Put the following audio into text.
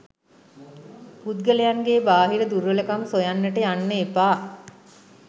පුද්ගලයන්ගේ බාහිර දුර්වලකම් සොයන්නට යන්න එපා.